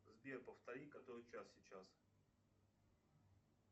сбер повтори который час сейчас